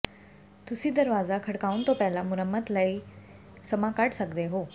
ਤੁਸੀਂ ਦਰਵਾਜ਼ਾ ਖੜਕਾਉਣ ਤੋਂ ਪਹਿਲਾਂ ਮੁਰੰਮਤ ਕਰਨ ਲਈ ਸਮਾਂ ਕੱਢ ਸਕਦੇ ਹੋ